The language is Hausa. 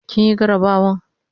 kin Yi garabawan?